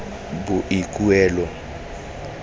boikuelo